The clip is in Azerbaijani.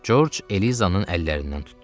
Corc Elizanın əllərindən tutdu.